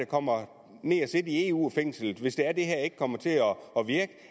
kommer ned at sidde i eu fængslet hvis det er det her ikke kommer til